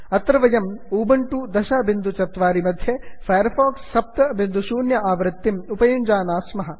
अत्र वयम् उबण्टु 1004 मध्ये फैर् फाक्स् 70 इति आवृत्तिम् उपयुञ्जानाः स्मः